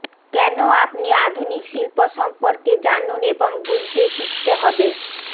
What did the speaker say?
কেন আপনি আধুনিক শিল্প সম্পর্কে জানুন এবং বুঝতে শিখতে হবে